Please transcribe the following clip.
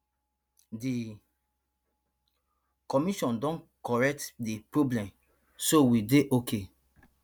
di commission don correct di problem so we dey okay